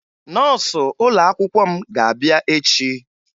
Nọọsụ ụlọakwụkwọ m ga-abịa echie